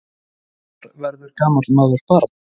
Tvisvar verður gamall maður barn.